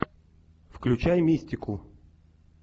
включай мистику